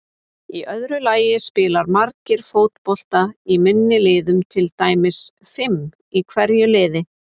Í öðru lagi spila margir fótbolta í minni liðum, til dæmis fimm í hverju liði.